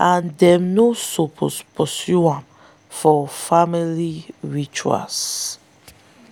and them no suppose pursue am for family rituals.